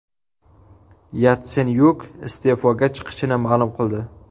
Yatsenyuk iste’foga chiqishini ma’lum qildi .